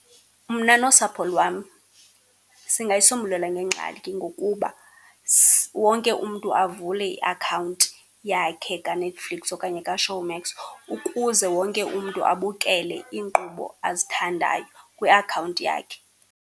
Mna nosapho lwam singayisombulula le ngxaki ngokuba wonke umntu avule iakhawunti yakhe kaNetflix okanye kaShowmax ukuze wonke umntu abukele iinkqubo azithandayo kwiakhawunti yakhe.